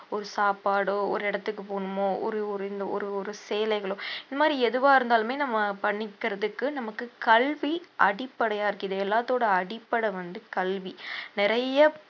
ஒரு சாப்பாடோ ஒரு இடத்துக்கு போகணுமோ ஒரு ஒரு இந்த ஒரு ஒரு சேலைகளோ இந்த மாதிரி எதுவா இருந்தாலுமே நம்ம பண்ணிக்கிறதுக்கு நமக்கு கல்வி அடிப்படையா இருக்கு இது எல்லாத்தோட அடிப்படை வந்து கல்வி நிறைய